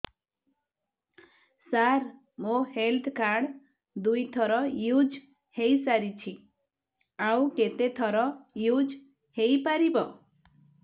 ସାର ମୋ health card ଦୁଇ ଥର ୟୁଜ଼ ହୈ ସାରିଛି ଆଉ କେତେ ଥର ୟୁଜ଼ ହୈ ପାରିବ